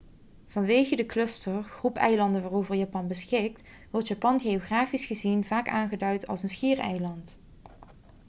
vanwege de cluster/groep eilanden waarover japan beschikt wordt japan geografisch gezien vaak aangeduid als een 'schiereiland'